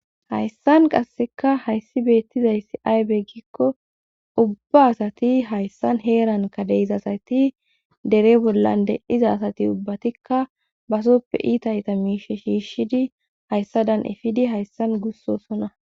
hayssan qasseka hayssi beettizayssi aybeggikko ubba asati hayssan heeran kadeizasati dere bollan de7iza asati ubbatikka basoppe iitayta miishe shiishshidi hayssadan efidi hayssan gussosona